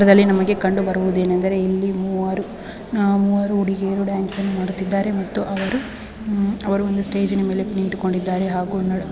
ಈ ಚಿತ್ರದಲ್ಲಿ ನಮಗೆ ಕಂಡುಬರುವುದೇನೆಂದರೆ ಆ ಮೂವರು ಹುಡುಗಿಯರು ಡ್ಯಾನ್ಸನ್ನು ಮಾಡುತ್ತಿದ್ದಾರೆ ಮತ್ತು ಅವರು ಒಂದು ಸ್ಟೇಜ್ ನ ಮೇಲೆ ನಿಂತುಕೊಂಡಿದ್ದಾರೆ.